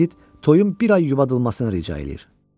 Edit toyun bir ay yubadılmasına icazə verir.